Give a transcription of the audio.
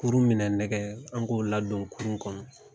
Kurun minɛ nɛgɛ an k'o ladon kurun kɔnɔ